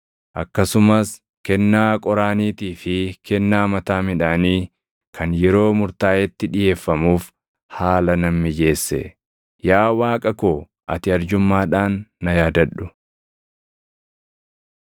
Akkasumas kennaa qoraaniitii fi kennaa mataa midhaanii kan yeroo murtaaʼetti dhiʼeeffamuuf haala nan mijeesse. Yaa Waaqa koo ati arjummaadhaan na yaadadhu.